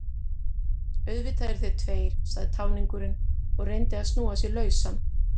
Auðvitað eru þeir tveir, sagði táningurinn og reyndi að snúa sig lausan.